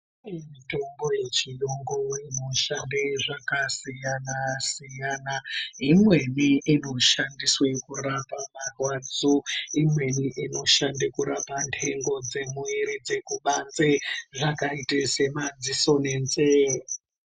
Mitombo yechiyungu inoshande zvakasiyana siyana imweni inoshandiswe kurapa marwadzo, imweni inoshanda kurapa ndengo dzemuwiri dzekubanze zvakaite semadziso nenzee.